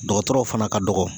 Dɔgɔtɔrɔw fana ka dɔgɔn